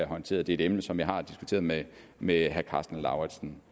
håndteret det er et emne som jeg også har diskuteret med med herre karsten lauritzen